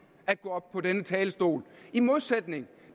at gå op på denne talerstol i modsætning